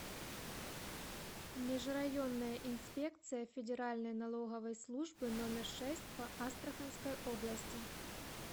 межрайонная инспекция федеральной налоговой службы номер шесть по астраханской области